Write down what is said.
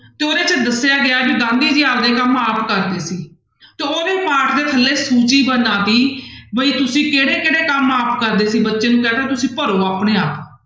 ਤੇ ਉਹਦੇ 'ਚ ਦੱਸਿਆ ਗਿਆ ਵੀ ਗਾਂਧੀ ਜੀ ਆਪਦੇ ਕੰਮ ਆਪ ਕਰਦੇ ਸੀ, ਤਾਂ ਉਹਦੇ ਪਾਠ ਦੇ ਥੱਲੇ ਸੂਚੀ ਬਣਾ ਦਿੱਤੀ ਵੀ ਤੁਸੀਂ ਕਿਹੜੇ ਕਿਹੜੇ ਕੰਮ ਆਪ ਕਰਦੇ ਸੀ ਬੱਚੇ ਨੂੰ ਕਹਿ ਦਿੱਤਾ ਤੁਸੀਂ ਭਰੋ ਆਪਣੇ ਆਪ।